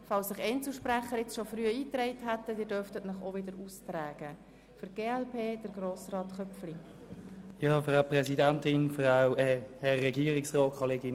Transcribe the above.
Falls sich Einzelsprecher frühzeitig in die Rednerliste eingetragen haben, dürfen sich diese auch wieder austragen.